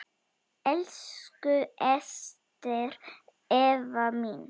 Elsku Ester Eva mín.